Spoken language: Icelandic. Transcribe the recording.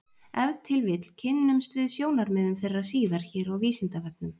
Ef til vill kynnumst við sjónarmiðum þeirra síðar hér á Vísindavefnum.